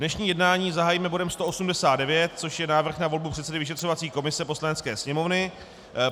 Dnešní jednání zahájíme bodem 189, což je návrh na volbu předsedy vyšetřovací komise Poslanecké sněmovny.